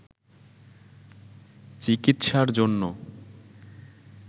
চিকিৎসার জন্য